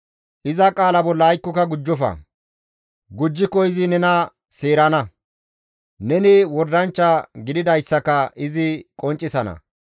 Iza qaala bolla aykkoka gujjofa; gujjiko izi nena seerana; neni wordanchcha gididayssaka izi qonccisana.